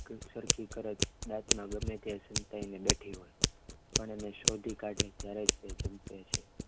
એક ઝીણી ખુબ સરસ રાતના ગમે તે ખૂણે સંતાઈને બેઠી હોય પણ એને શોધી કાઢી તરત જ